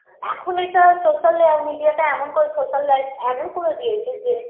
এখন এটা social -এ আর media -তে এমন করে social life এমন করে দিয়েছে যে